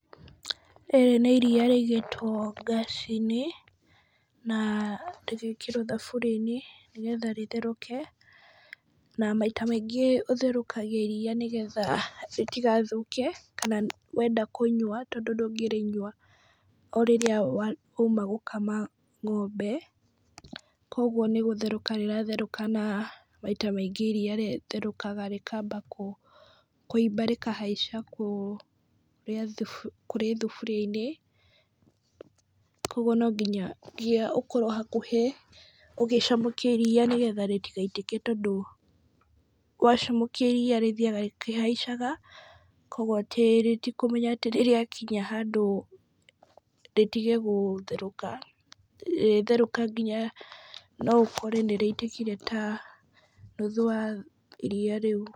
Rĩrĩ nĩ iria rĩigĩtwo ngaci-inĩ, na rĩgekĩrwo thaburia-inĩ nĩgetha rĩtherũke, na maita maingĩ ũtherũkagia iria nĩgetha ritigathũke, kana wenda kũnyua tondũ ndũngĩrĩnyua o rĩrĩa wauma gũkama ngombe, kũgwo nĩ gũtherũka rĩratherũka, na maita maingĩ iria rĩtherũkaga rĩkamba kũiba rĩkahaica kũ kũrĩ thaburia-inĩ, kũgwo no nginya gia ũkorwo hakuhĩ , ũgĩcamũkia iria tondũ wacamũkia iria rĩthiaga rĩkĩhaicaga, kũgwo atĩ rĩtikũmenya atĩ nĩrĩakinya handũ rĩtigegũtherũka , rĩtherũke nginya no ũkore nĩrĩitĩkire ta nuthu wa iria rĩu.